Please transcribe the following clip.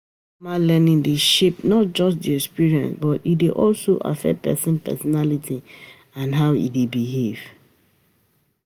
Informal learning dey shape not just di experience but e dey also affect person personality and how e dey behave